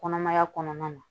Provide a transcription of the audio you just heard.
Kɔnɔmaya kɔnɔna na